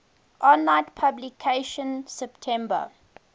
online publication september